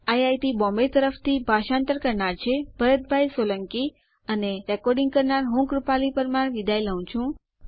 IIT Bombay તરફથી ભાષાંતર કરનાર હું ભરત સોલંકી વિદાય લઉં છું